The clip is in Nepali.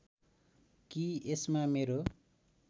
कि यसमा मेरो